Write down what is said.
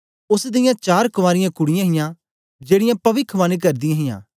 ओस दियां चार कवारियां कुड़ीयाँ हां जेड़ीयां पविखवाणी करदी हां